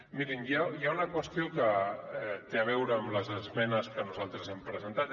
mirin hi ha una qüestió que té a veure amb les esmenes que nosaltres hem presentat